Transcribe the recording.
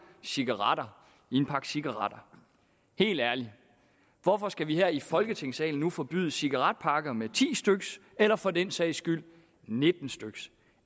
cigaretter i en pakke cigaretter helt ærligt hvorfor skal vi her i folketingssalen nu forbyde cigaretpakker med ti styk eller for den sags skyld nitten styk